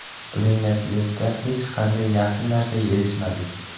Buning natijasida hech qanday yaxshi narsaga erishmadik.